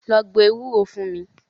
Lọ gbo ewúro fún mi!